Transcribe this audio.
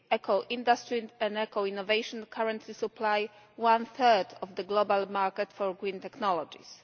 Eco industry and eco innovation currently supply one third of the global market for green technologies.